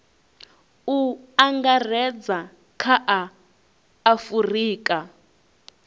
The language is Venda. u angaredza kha a afurika